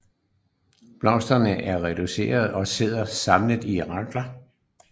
Blomsterne er reducerede og sidder samlet i rakler